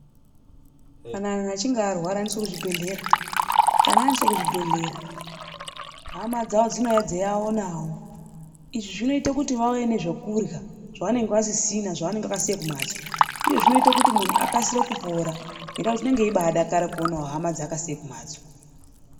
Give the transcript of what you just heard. Kana muntu achinge arwara anoendeswa kuchibhedhlera .Kana aendeswa kuchibhedhlera hama dzavo dzinopota dzichivaonawo .Izvi zvinoita vauye nezvekurya zvavanenge vasina zvavanenge vakasiya kumhatso uye zvinoita muntu akasire kupora ngekuti anenge achidakara kuona hama dzaakasiya kumhatso.